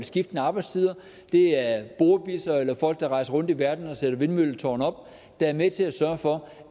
skiftende arbejdstider det er borebisser eller folk der rejser rundt i verden og sætter vindmølletårne op der er med til at sørge for